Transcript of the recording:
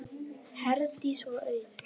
Herdís og Auður.